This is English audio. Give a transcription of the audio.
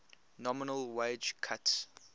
nominal wage cuts